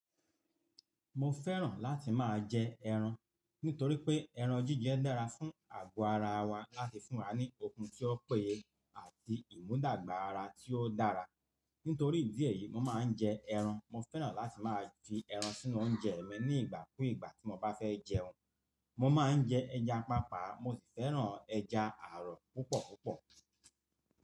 Mo fẹ́ràn láti máa jẹ ẹran, nítorí pé ẹran jíjẹ dára fún àgọ́ ara wa láti fún wa ní okun tí ó péye àti ìmúdàgba ara tí ó dára. Nítorí ìdí èyí, mo máa ń jẹ ẹran. Mo fẹ́ràn láti máa fi ẹran sínú oúnjẹ mi ní ìgbà kú ìgbà tí mo bá fẹ́ jẹun. Mo máa ń jẹ ẹja pàápàá, mo sì fẹ́ràn ẹja ààrọ̀ púpọ̀ púpọ̀.